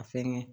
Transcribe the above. A fɛngɛ